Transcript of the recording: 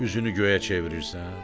üzünü göyə çevirirsən?